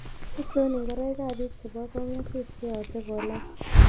Achon ingoroikap biik chebo kong'asis cheyoche kolach